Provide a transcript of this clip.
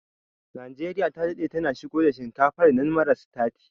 Najeriya ta daɗe tana shigo da shinkafar nan mara sitati